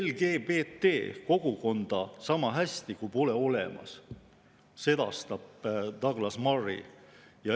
LGBT‑kogukonda niisama hästi kui pole olemas, sedastab Douglas Murray.